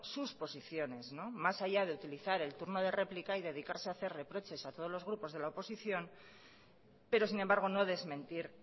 sus posiciones más allá de utilizar el turno de réplica y dedicarse a hacer reproches a todos los grupos de la oposición pero sin embargo no desmentir